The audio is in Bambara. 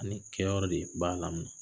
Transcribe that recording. Ani kɛ yɔrɔ de b'a la mɛnɛ.